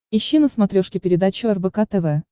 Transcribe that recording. ищи на смотрешке передачу рбк тв